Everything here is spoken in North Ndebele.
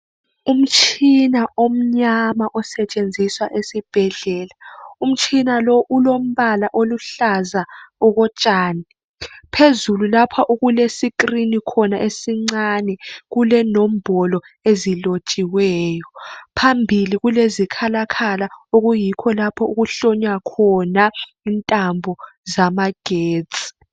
Umtshina omncane osetshenziswa esibhedlela. Umtshina lowu ulombala oluhlaza okotshani. Phezulu lapha okule screen khona esincane kulenombolo ezilotshiweyo. Phambili kulezikhalakhala okuyikho lapho okuhlonywa khona intambo zamagetsi.